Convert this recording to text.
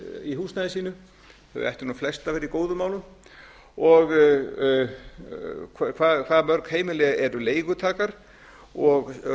í húsnæði sínu þau ættu flest að vera í góðum málum og hvað mörg heimili eru leigutakar og